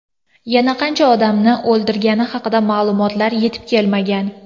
Yana qancha odamni o‘ldirgani haqida ma’lumotlar yetib kelmagan.